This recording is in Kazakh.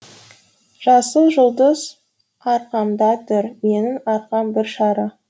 жасыл жұлдыз арқамда тұр менің арқам бір шары